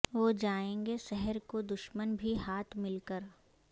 رہ جائیں گے سحر کو دشمن بھی ہاتھ مل کر